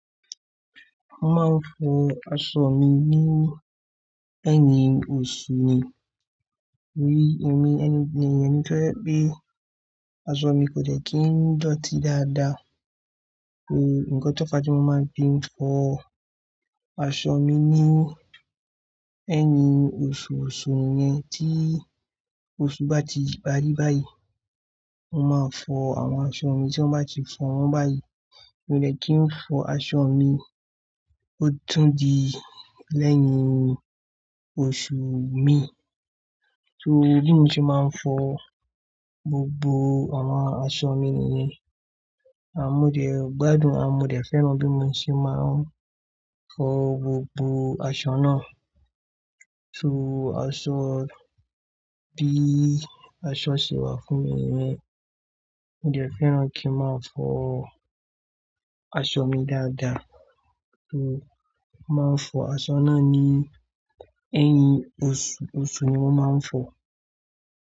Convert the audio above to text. Mo máa ń fọ aṣọ mi lé ẹ́yìn oṣù ni. Torí èmi ẹni tó jẹ́ pé aṣọ mi kò dẹ́ kí n dọ̀tí dáadáa. Eré nǹkan tó pa tí mo máa ń fi fọ aṣọ mi ni ẹ́yìn oṣù oṣù nìyen tí oṣù bá ti parí báyìí, mo máa fọ àwọn aṣọ mi tí mọ́ bá ti fọ́ wọ́n báyìí. Mi ò dẹ́ kí n fọ aṣọ mi ó tún di lẹ́yìn oṣù mi. So bí mo ṣe máa ń fọ gbogbo àwọn aṣọ mi nìyẹn. A mo dẹ̀ gbádùn, a modẹ̀ fẹ́ràn bí mo ṣe máa ń fọ gbogbo aṣọ náà. So aṣọ bí aṣọ ṣe wà fún mi nìyẹn. Mi ò dẹ́ fẹ́ràn kí n máa fọ aṣọ mi dáadáa. So mo máa ń fọ aṣọ náà ní ẹ́yìn oṣù oṣù ni wọ́n máa ń fọ.